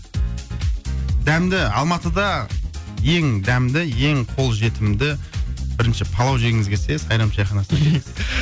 дәмді алматыда ең дәмді ең қолжетімді бірінші палау жегіңіз келсе сайрам шайханасына келіңіз